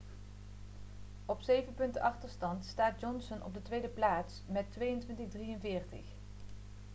op zeven punten achterstand staat johnson op de tweede plaats met 2.243